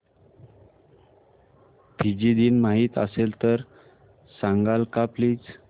Fiji दिन माहीत असेल तर सांगाल का प्लीज